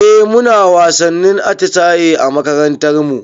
Eh muna wasannin atisaye a makarantar mu